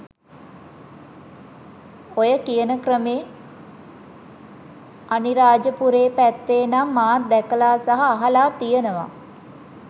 ඔය කියන ක්‍රමේ අනිරාජපුරේ පැත්තෙ නම් මාත් දැකලා සහ අහලා තියෙනවා